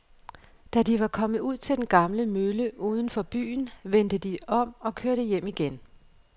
Da de var kommet ud til den gamle mølle uden for byen, vendte de om og kørte hjem igen.